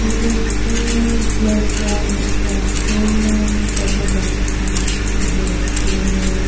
tu ase playground ekta se tatey bacha khan khili ase.